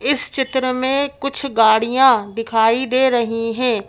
इस चित्र में कुछ गाड़ियाँ दिखाई दे रही हैं।